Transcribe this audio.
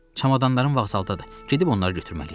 Çamadanlarım vağzaldadır, gedib onları götürməliyəm.